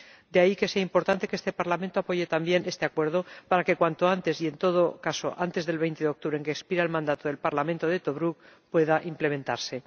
De ahí que sea importante que este Parlamento apoye también este acuerdo, para que cuanto antes, y en todo caso, antes del 20 de octubre, fecha en que expira el mandato del Parlamento de Tobruk, pueda implementarse.